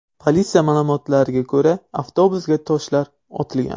Politsiya ma’lumotiga ko‘ra, avtobusga toshlar otilgan.